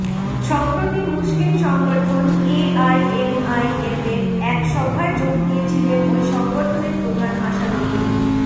সম্প্রতি মুসলিম সংগঠন এআইএমআইএমের এক সভায় যোগ দিয়েছিলেন ওই সংগঠনের প্রধান আসাদুদ্দিন